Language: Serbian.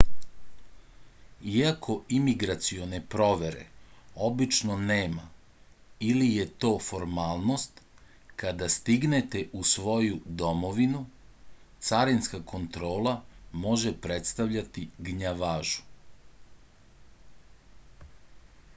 iako imigracione provere obično nema ili je to formalnost kada stignete u svoju domovinu carinska kontrola može predstavljati gnjavažu